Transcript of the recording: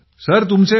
हो सर